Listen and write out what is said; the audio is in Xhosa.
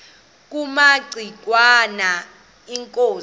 kumaci ngwana inkosi